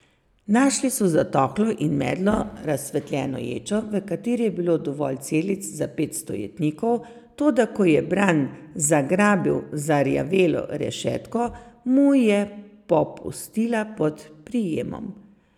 Našli so zatohlo in medlo razsvetljeno ječo, v kateri je bilo dovolj celic za petsto jetnikov, toda ko je Bran zagrabil zarjavelo rešetko, mu je popustila pod prijemom.